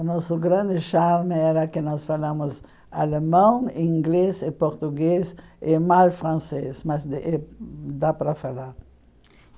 O nosso grande charme era que nós falamos alemão, inglês e português e mal francês, mas eh dá para falar.